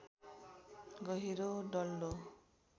गहिरो डल्लो